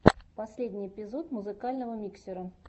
последний эпизод музыкального миксера